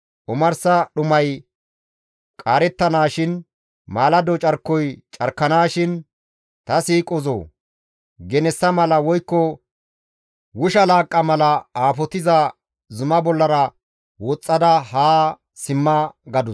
Omarsa dhumay qaarettanaashin, maalado carkoy carkanaashin, ta siiqozoo! Genessa mala woykko wusha laaqqa mala aafotiza zuma bollara woxxada haa simma» gadus.